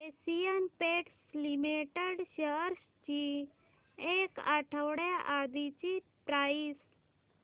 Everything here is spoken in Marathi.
एशियन पेंट्स लिमिटेड शेअर्स ची एक आठवड्या आधीची प्राइस